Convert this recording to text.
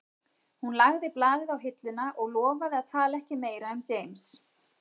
Hún lagði blaðið á hilluna og lofaði að tala ekki meira um James